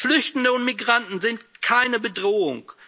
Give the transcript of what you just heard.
Flüchtende und Migranten sind keine Bedrohung.